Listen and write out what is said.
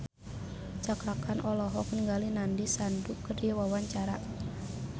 Cakra Khan olohok ningali Nandish Sandhu keur diwawancara